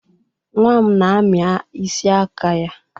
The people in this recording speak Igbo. Nwa m na-ami isi aka ya.